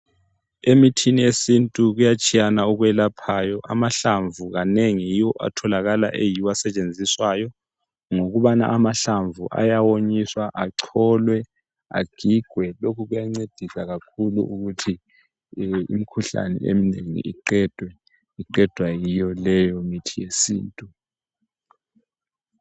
Emithini yesintu kuyatshiyana okwelaphayo, amahlamvu kanengi yiwo atholakala eyiwo asetshenziswayo. Ngokubana amahlamvu ayawonyiswa acholwe, agigwe lokhu kuyancedisa kakhulu ukuthi imikhuhlane eminengi iqedwe, iqedwa yiyo leyo mithi yesintu.